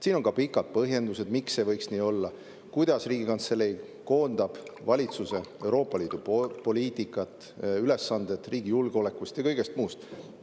Siin on ka pikad põhjendused, miks see võiks nii olla, kuidas Riigikantselei valitsuse Euroopa Liidu poliitikat, ülesanded riigi julgeoleku ja muud ülesanded.